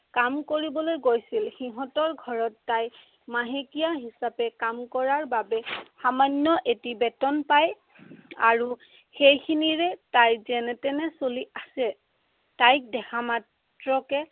কাম কৰিবলৈ গৈছিল। সিহঁতৰ ঘৰত তাই মাহকীয়া হিচাপে কাম কৰাৰ বাবে সামান্য় এটি বেতন পায়। আৰু সেইখিনিৰে তাই যেনে তেনে চলি আছে। তাইক দেখা মাত্ৰকে